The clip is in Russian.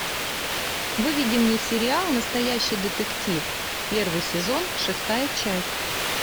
выведи мне сериал настоящий детектив первый сезон шестая часть